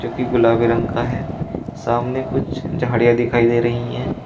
जो कि गुलाबी रंग का है। सामने कुछ झाड़ियां दिखाई दे रही हैं।